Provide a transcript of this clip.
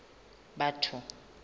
batho